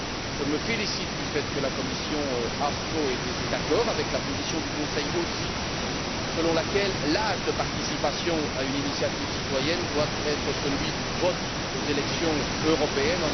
Je me félicite du fait que la commission AFCO ait également été d'accord avec la position du Conseil selon laquelle l'âge de participation à une initiative citoyenne doit être celui du vote aux élections européennes.